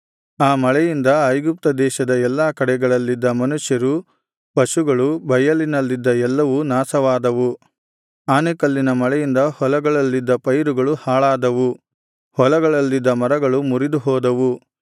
ಆ ಮಳೆಯಿಂದ ಐಗುಪ್ತ ದೇಶದ ಎಲ್ಲಾ ಕಡೆಗಳಲ್ಲಿದ್ದ ಮನುಷ್ಯರು ಪಶುಗಳು ಬಯಲಿನಲ್ಲಿದ್ದ ಎಲ್ಲವೂ ನಾಶವಾದವು ಆನೆಕಲ್ಲಿನ ಮಳೆಯಿಂದ ಹೊಲಗಳಲ್ಲಿದ್ದ ಪೈರುಗಳು ಹಾಳಾದವು ಹೊಲಗಳಲ್ಲಿದ್ದ ಮರಗಳು ಮುರಿದುಹೋದವು